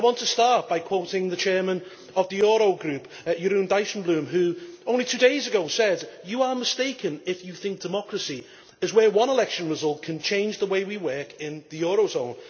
I want to start by quoting the Chairman of the Euro Group, Jeroen Dijsselbloem, who, only two days ago, said that you are mistaken if you think that democracy is where one election result can change the way we work in the Eurozone.